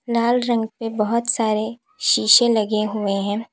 लाल रंग के बहोत सारे शीशे लगे हुए हैं।